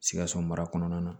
Sikaso mara kɔnɔna na